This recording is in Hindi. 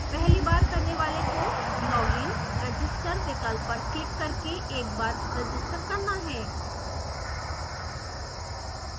पहली बार करने वाले को login/register विकल्प पर क्लिक करके एक बार रजिस्टर करना है